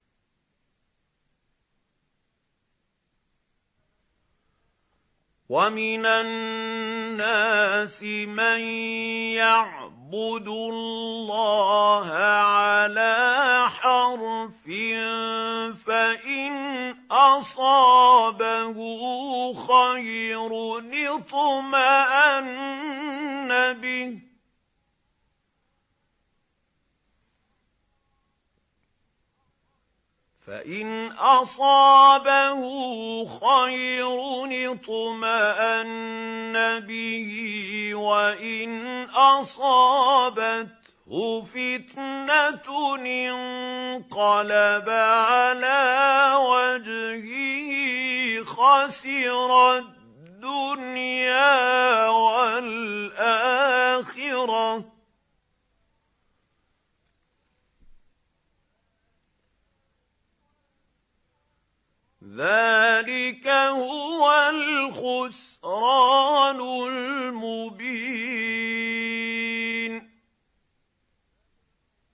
وَمِنَ النَّاسِ مَن يَعْبُدُ اللَّهَ عَلَىٰ حَرْفٍ ۖ فَإِنْ أَصَابَهُ خَيْرٌ اطْمَأَنَّ بِهِ ۖ وَإِنْ أَصَابَتْهُ فِتْنَةٌ انقَلَبَ عَلَىٰ وَجْهِهِ خَسِرَ الدُّنْيَا وَالْآخِرَةَ ۚ ذَٰلِكَ هُوَ الْخُسْرَانُ الْمُبِينُ